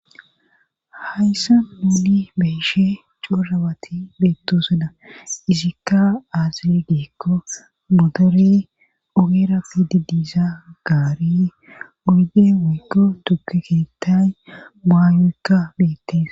Hayssa nuuni beeshe coorawati beettosoda isikka azire geekko modore ogera fidi diiza gaari oyyde weygo tukeketay maayoykka beettes